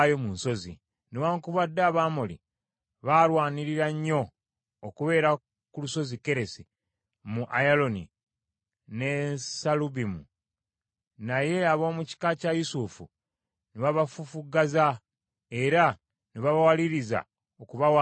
Newaakubadde Abamoli baalwanirira nnyo okubeera ku lusozi Keresi, mu Ayalooni ne Saalubimu naye ab’omu kika kya Yusufu ne babafufuggaza era ne babawaliriza okubawanga omusolo.